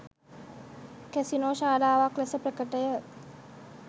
Casino ශාලාවක් ලෙස ප්‍රකටය.